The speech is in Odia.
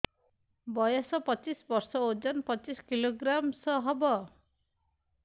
ବୟସ ପଚିଶ ବର୍ଷ ଓଜନ ପଚିଶ କିଲୋଗ୍ରାମସ ହବ